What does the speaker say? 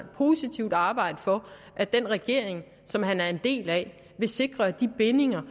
positivt vil arbejde for at den regering som han er en del af vil sikre at de bindinger